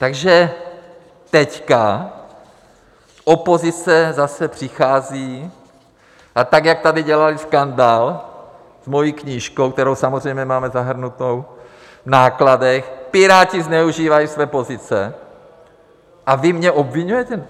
Takže teď opozice zase přichází a tak, jak tady dělali skandál s mojí knížkou, kterou samozřejmě máme zahrnutou v nákladech, Piráti zneužívají své pozice, a vy mě obviňujete?